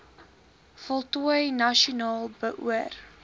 voltooi nasionaal beoor